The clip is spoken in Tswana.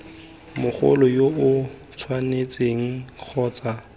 mogolo yo o tshwanetseng kgotsa